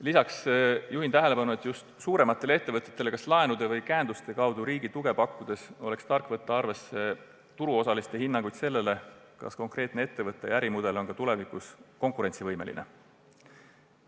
Lisaks juhin tähelepanu sellele, et just suurematele ettevõtetele laenude või käenduste kaudu riigi tuge pakkudes oleks tark võtta arvesse turuosaliste hinnanguid selle kohta, kas konkreetne ettevõte ja ärimudel on ka tulevikus konkurentsivõimelised.